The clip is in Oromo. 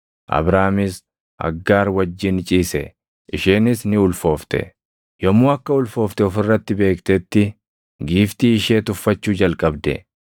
Abraamis Aggaar wajjin ciise; isheenis ni ulfoofte. Yommuu akka ulfoofte of irratti beektetti giiftii ishee tuffachuu jalqabde.